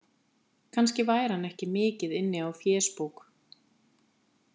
Kannski væri hann ekki mikið inni á fésbók.